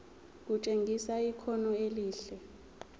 kutshengisa ikhono elihle